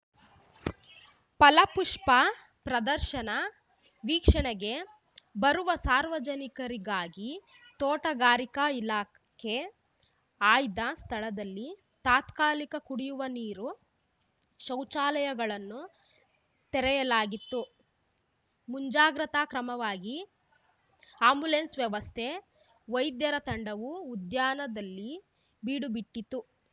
ಫಲಪುಷ್ಪ ಪ್ರದರ್ಶನ ವೀಕ್ಷಣೆಗೆ ಬರುವ ಸಾರ್ವಜನಿಕರಿಗಾಗಿ ತೋಟಗಾರಿಕಾ ಇಲಾಖೆ ಆಯ್ದ ಸ್ಥಳದಲ್ಲಿ ತಾತ್ಕಾಲಿಕ ಕುಡಿಯುವ ನೀರು ಶೌಚಾಲಯಗಳನ್ನು ತೆರೆಯಲಾಗಿತ್ತು ಮುಂಜಾಗ್ರತಾ ಕ್ರಮವಾಗಿ ಆ್ಯಂಬುಲೆನ್ಸ್‌ ವ್ಯವಸ್ಥೆ ವೈದ್ಯರ ತಂಡವೂ ಉದ್ಯಾನದಲ್ಲಿ ಬೀಡುಬಿಟ್ಟಿತ್ತು